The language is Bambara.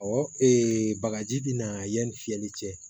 Ɔ bagaji bina yanni fiyɛli cɛ